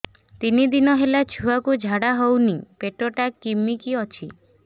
ତିନି ଦିନ ହେଲା ଛୁଆକୁ ଝାଡ଼ା ହଉନି ପେଟ ଟା କିମି କି ଅଛି